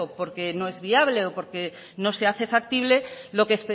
porque no es viable o porque no se hace factible